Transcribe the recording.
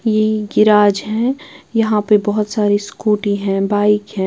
ये गिराज है यहाँ पे बहुत सारी स्कूटी है बाइक है।